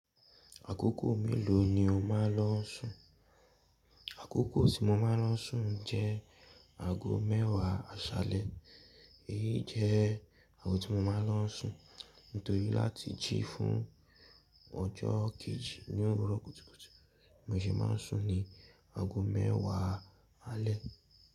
Àkókò mélòó ni o máa ń lọ sùn? Àkókò tí mo máa ń lọ sùn jẹ́ ago mẹ́wàá àṣálẹ́. Èyí jẹ́ ago tí mo máa ń lọ sùn nítorí láti jí fún ọjọ́ kejì ní òwúrọ̀ kùtùkùtù. Mo ṣe máa ń sùn ní ago mẹ́wàá alẹ́.